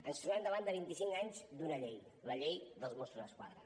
ens trobem davant de vint i cinc anys d’una llei la llei dels mossos d’esquadra